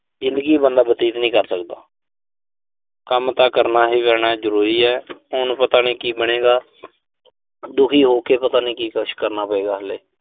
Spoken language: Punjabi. ਜ਼ਿੰਦਗੀ ਬੰਦਾ ਬਤੀਤ ਨਹੀਂ ਕਰ ਸਕਦਾ। ਕੰਮ ਤਾਂ ਕਰਨਾ ਹੀ ਪੈਣਾ। ਜ਼ਰੂਰੀ ਆ। ਹੁਣ ਪਤਾ ਨੀਂ ਕੀ ਬਣੇਗਾ। ਦੁਖੀ ਹੋ ਕੇ ਪਤਾ ਨੀਂ ਕੀ ਕੁਸ਼ ਕਰਨਾ ਪਏਗਾ ਹਲੇ।